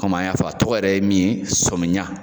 kɔmi an y'a fɔ a tɔgɔ yɛrɛ ye min ye sɔmiya